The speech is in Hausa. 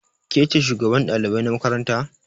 Ke ce shugaban ɗalibai na makaranta?